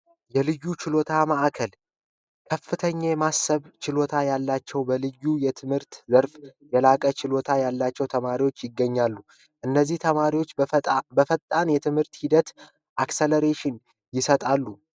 የልዩ ችሎት ማዕከል ከፍተኛ የማሰብ ችሎታ ያላቸው በልዩ የትምህርት ዘርፍ የላቀ ችሎታ ያላቸው ተማሪዎች ይገኛሉ። እነዚህ ተማሪዎች በፈጣን የትምህርት ሂደት አክስለሬሽን ይሰጣሉ።